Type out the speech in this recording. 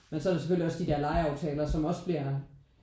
Men så er der selvfølgelig også de der legeaftaler som også bliver